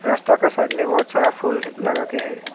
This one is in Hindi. रास्ता का साइड में बहुत सारा फुल लगाकर है।